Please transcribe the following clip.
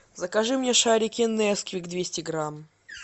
закажи мне шарики несквик двести грамм